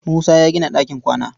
Musa ya gina ɗakin kwana.